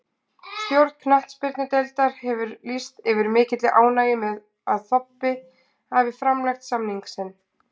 Stjórn knattspyrnudeildar hefur lýst yfir mikilli ánægju með að Þobbi hafi framlengt samning sinn.